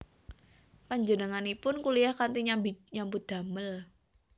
Panjenenganipun kuliyah kanthi nyambi nyambut damel